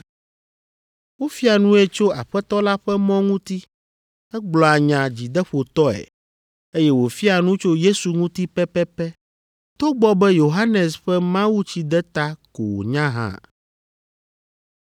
Wofia nue tso Aƒetɔ la ƒe mɔ ŋuti, egblɔa nya dzideƒotɔe, eye wòfiaa nu tso Yesu ŋuti pɛpɛpɛ togbɔ be Yohanes ƒe mawutsideta ko wònya hã.